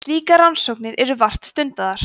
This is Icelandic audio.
slíkar rannsóknir eru vart stundaðar